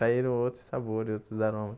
Saíram outros sabores, outros aromas.